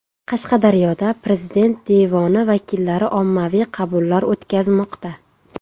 Qashqadaryoda Prezident devoni vakillari ommaviy qabullar o‘tkazmoqda.